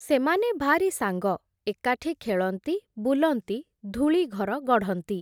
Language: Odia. ସେମାନେ ଭାରି ସାଙ୍ଗ, ଏକାଠି ଖେଳନ୍ତି ବୁଲନ୍ତି ଧୂଳିଘର ଗଢ଼ନ୍ତି ।